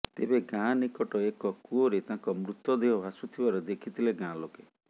ତେବେ ଗାଁ ନିକଟ ଏକ କୂଅରେ ତାଙ୍କ ମୃତଦେହ ଭାସୁଥିବାର ଦେଖିଥିଲେ ଗାଁଲେକେ